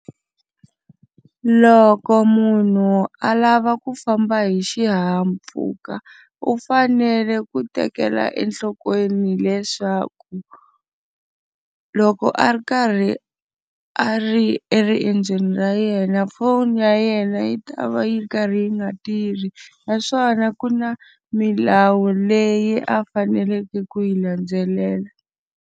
Loko munhu a lava ku famba hi xihahampfhuka u fanele ku tekela enhlokweni hileswaku, loko a ri karhi a ri eriendzweni ra yena foni ya yena yi ta va yi karhi yi nga tirhi. Naswona ku na milawu leyi a faneleke ku yi landzelela.